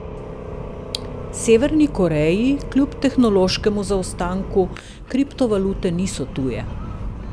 Severni Koreji, kljub tehnološkemu zaostanku, kriptovalute niso tuje.